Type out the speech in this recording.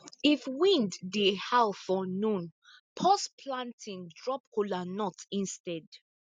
if wind dey howl for noon pause planting drop kola nut instead